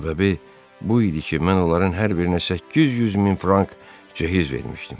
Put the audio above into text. Səbəbi bu idi ki, mən onların hər birinə 800 min frank cehiz vermişdim.